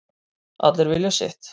Allir vilja sitt